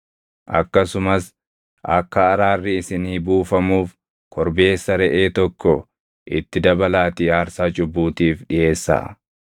Akkasumas akka araarri isinii buufamuuf korbeessa reʼee tokko itti dabalaatii aarsaa cubbuutiif dhiʼeessaa.